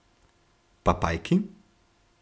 Pa pajki?